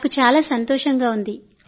నాకు చాలా సంతోషంగా ఉంది